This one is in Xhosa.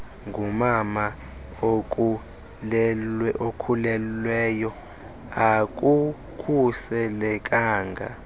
ngumama okhulelweyo akukhuselekanga